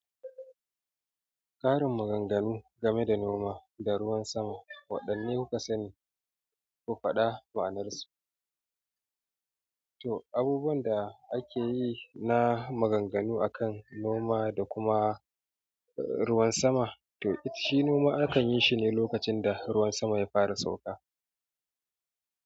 Ƙarin maganganu game da noma da ruwan sama. Waɗanne kuka sani? Ku faɗa ma'anarsu. Toh, abubuwan da ake yi na maganganu a kan noma da kuma ruwan sama. Toh, it shi noma akan yi shi ne lokacin da ruwan sama ya fara sauka.